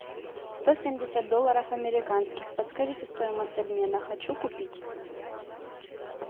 сто семьдесят долларов американских подскажите стоимость обмена хочу купить